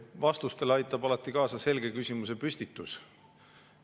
Vastustele aitab alati kaasa selge küsimuse püstitus.